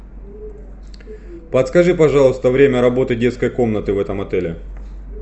подскажи пожалуйста время работы детской комнаты в этом отеле